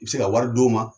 I bɛ se ka wari d'u ma